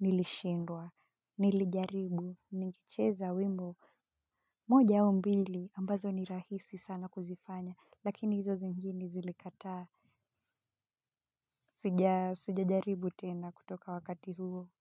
Nilishindwa, Nilijaribu ningecheza wimbo moja au mbili ambazo ni rahisi sana kuzifanya lakini hizo zingine zilikataa sijajaribu tena kutoka wakati huo.